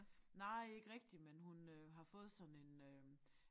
Nej ikke rigtig men hun øh har fået sådan en øh